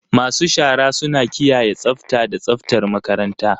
Masu shara suna kiyaye tsafta da tsaftar makaranta.